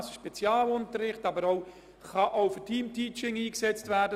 Diese können auch für Teamteaching eingesetzt werden.